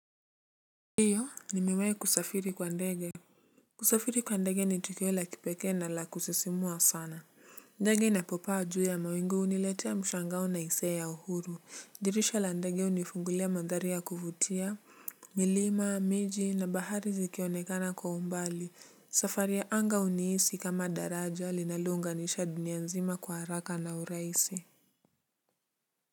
Ndiyo nimiwai kusafiri kwa ndege. Kusafiri kwa ndege ni tukio la kipekee na la kusisimua sana. Ndege inapopaa juu ya mawinguni huniletea mshangao na hisia ya uhuru, dirisha la ndege unifungulia mandhari ya kuvutia. Milima, miji na bahari zikionekana kwa umbali, safari ya anga unihisi kama daraja linalounganisha dunia nzima kwa haraka na urahisi. AC.